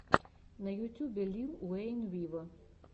на ютьюбе лил уэйн виво